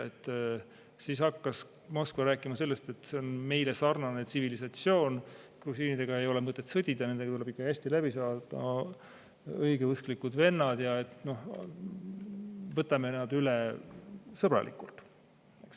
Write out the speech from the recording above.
Siis hakkas Moskva rääkima sellest, et see on meile sarnane tsivilisatsioon, grusiinidega ei ole mõtet sõdida, nendega tuleb ikka hästi läbi saada, nad on õigeusklikud vennad, võtame nad üle sõbralikult.